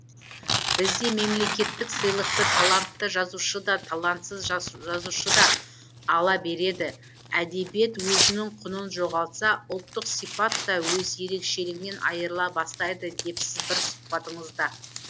бізде мемлекеттік сыйлықты талантты жазушы да талантсыз жазушы да ала береді әдебиет өзінің құнын жоғалтса ұлттық сипат та өз ерекшелігінен айрыла бастайды депсіз бір сұхбатыңызда